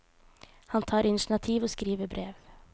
Han tar initiativ og skriver brev.